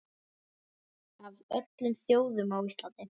Af öllum þjóðum, á Íslandi?